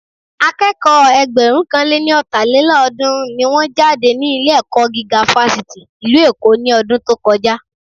Akẹ́kọ̀ọ́ Ẹgbẹ̀rúnkanléní-ọ̀tàlélọ́ọ̀dún-run ni wọ́n jáde ní ilé-ẹ̀kọ́ gíga Fáṣítì ìlú Èkó ní ọdún tó kọjá